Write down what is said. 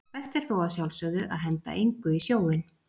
Best er þó að sjálfsögðu að henda engu í sjóinn.